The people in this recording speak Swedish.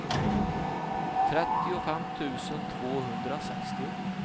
trettiofem tusen tvåhundrasextio